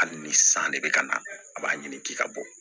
Hali ni san de bɛ ka na a b'a ɲini k'i ka bɔ